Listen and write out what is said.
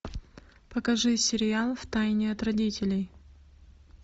покажи сериал втайне от родителей